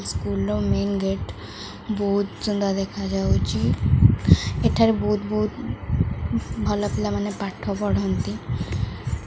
School ର main gate ବୋହୁତ୍ ସୁନ୍ଦର୍ ଦେଖାଯାଉଚି ଏଠାରେ ବୋହୁତ୍ ବୋହୁତ ଭଲ ପିଲାମାନେ ପାଠ ପଢ଼ନ୍ତି।